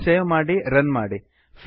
ಫೈಲನ್ನು ಸೇವ್ ಮಾಡಿ ರನ್ ಮಾಡಿ